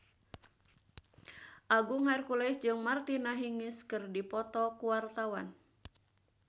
Agung Hercules jeung Martina Hingis keur dipoto ku wartawan